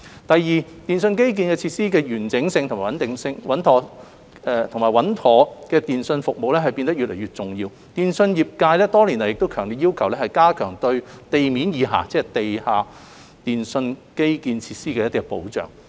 第二，電訊基建設施的完整性及穩妥的電訊服務變得越來越重要，電訊業界多年來亦強烈要求加強對地面以下，即地下電訊基建設施的保障。